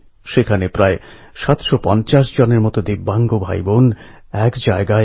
ফেব্রুয়ারি আর মার্চ মাস যায় পরীক্ষা প্রশ্নউত্তর লেখায়